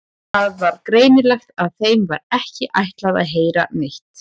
Það var greinilegt að þeim var ekki ætlað að heyra neitt.